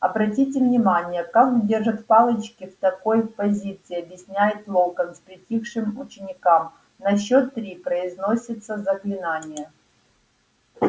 обратите внимание как держат палочки в такой позиции объясняет локонс притихшим ученикам на счёт три произносятся заклинания